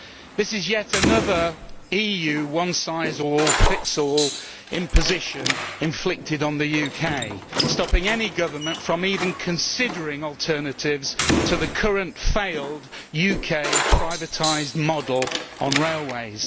This is yet another EU one size fits all imposition inflicted on the UK, stopping any government from even considering alternatives to the current failed UK privatised model of railways.